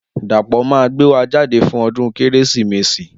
Dapo ma gbé wa jáde fún ọdún kérésìmesì